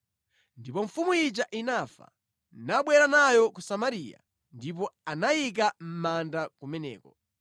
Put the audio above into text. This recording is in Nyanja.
Ndipo mfumu ija inafa, nabwera nayo ku Samariya, ndipo anayika mʼmanda kumeneko.